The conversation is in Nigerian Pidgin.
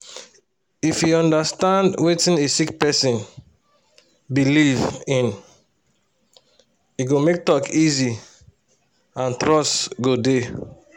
if you understand wetin a sick person believe in e go make talk dey easy and trust go dey